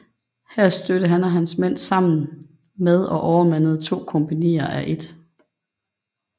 Her stødte han og hans mænd sammen med og overmandede to kompagnier af 1